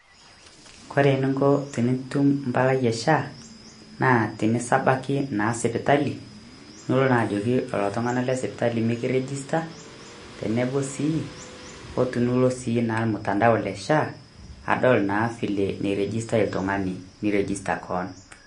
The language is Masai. Kore ninko tinitum mpalai e SHA, naa tinisabaki naa sipitali niloo na ajoki lolo ltung'ana le sipitali meikirejista teneboo sii o tunuloo sii naa mutandao le SHA adol naa vile neirejista ltung'ani niirejista koon.